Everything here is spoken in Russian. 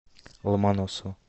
ломоносова